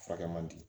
Furakɛ man di